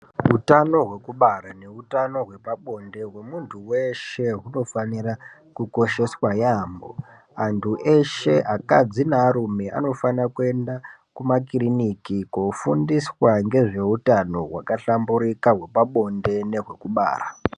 Utano hwekubara neutano hwepabonde hwemuntu veshe hunofanira kukosheswa yaamho. Antu eshe akadzi nearume anofanira kuenda kumakiriniki kofundiswa ngezvehutano hwakahlambirika hwepabonde nehwekubara.